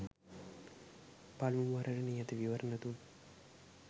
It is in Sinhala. පළමු වරට නියත විවරණ දුන්